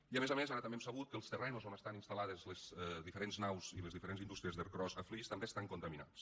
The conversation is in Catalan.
i a més a més ara també hem sabut que els terrenys on estan instal·lades les diferents naus i les diferents indústries d’ercros a flix també estan contaminats